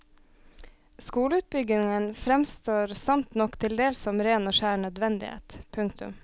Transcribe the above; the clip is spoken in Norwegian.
Skoleutbyggingen fremstår sant nok til dels som ren og skjær nødvendighet. punktum